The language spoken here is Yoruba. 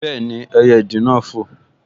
Bẹ́ẹ̀ni, ẹyẹ ìdì náà n fò